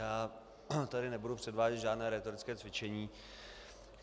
Já tady nebudu předvádět žádné rétorické cvičení.